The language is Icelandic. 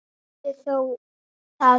Vissi það þó.